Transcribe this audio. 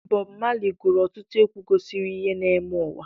Bob Marley gụrụ ọtụtụ egwu gosiri ihe na-eme n'ụwa.